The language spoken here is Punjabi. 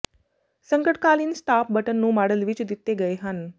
ਸੰਕਟਕਾਲੀਨ ਸਟਾਪ ਬਟਨ ਨੂੰ ਮਾਡਲ ਵਿਚ ਦਿੱਤੇ ਗਏ ਹਨ